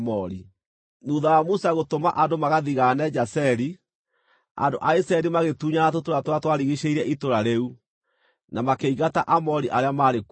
Thuutha wa Musa gũtũma andũ magathigaane Jazeri, andũ a Isiraeli magĩtunyana tũtũũra tũrĩa twarigiicĩirie itũũra rĩu, na makĩingata Aamori arĩa maarĩ kuo.